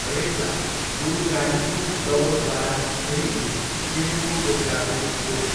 रेक्ला गोरुगाडीको दौडद्वारा खेलिने खेलको एउटा रूप हो।